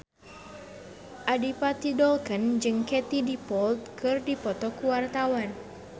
Adipati Dolken jeung Katie Dippold keur dipoto ku wartawan